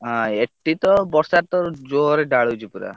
ହଁ, ଏଠି ତ ବର୍ଷାତ ଜୋରେ ଢାଳୁଛି ପୁରା।